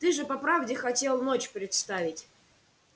ты же по правде хотел ночь представить